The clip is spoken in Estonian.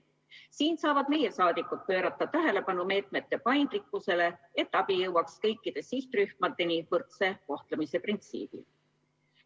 Siin saavad meie saadikud pöörata tähelepanu meetmete paindlikkusele, et abi jõuaks kõikide sihtrühmadeni võrdse kohtlemise printsiibil.